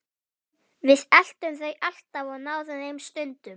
Við eltum þau alltaf og náðum þeim stundum.